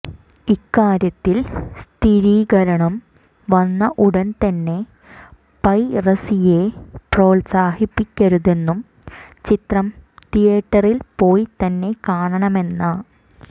ഇക്കാര്യത്തിൽ സ്ഥിരീകരണം വന്ന ഉടൻ തന്നെ പൈറസിയെ പ്രോത്സാഹിപ്പിക്കരുതെന്നും ചിത്രം തീയേറ്ററിൽ പോയി തന്നെ കാണണമെന്ന